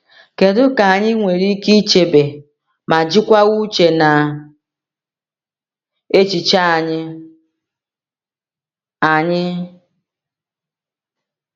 Kedu ka anyị nwere ike chebe ma jikwaa uche na echiche anyị? anyị?